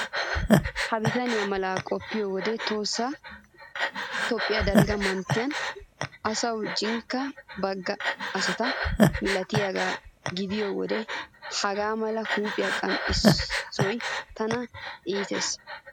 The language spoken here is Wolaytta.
Ha bitanee malan qoppiyo wode tohossa Toophphiya dalgga manttiya aysuwan jinkka bagga asata milatiyagaa gidiyo wode hagaa mala huuphphiya qanxxissoy tana iitees.